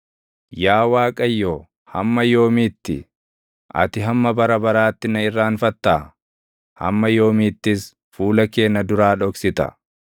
Yaa Waaqayyo, hamma yoomiitti? Ati hamma bara baraatti na irraanfattaa? Hamma yoomiittis fuula kee na duraa dhoksita?